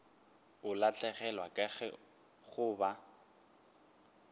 o lahlegelwa ke go ba